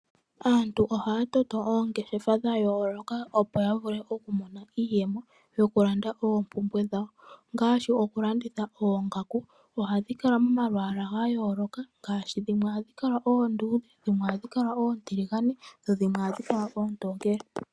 Aantu ohaya toto oongeshefa dha yooloka opo ya vule oku mona iiyemo yokulanda oompumbwe dhawo. Ohaya landitha oongaku ndhoka hadhi kala momalwaala gayooloka ngaashi dhimwe ohadhi kala oonduudhe, oontiligane noshowo oontokele.